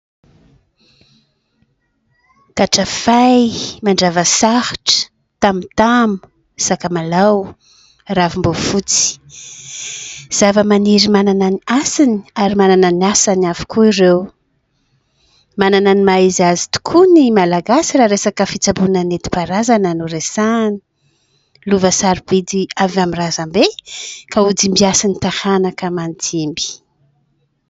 Katrafay, mandrava sarotra, tamotamo, sakamalao, ravim-boafotsy. Zavamaniry manana ny hasiny ary manana ny asany avokoa ireo. Manana ny maha izy azy tokoa ny malagasy raha resaka fitsaboana nentim-paharazana no resahana. Lova sarobidy avy amin'ny razam-be ka ho dimbiasan'ny taranaka aman-dimby.